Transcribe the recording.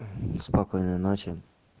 спокойной ночи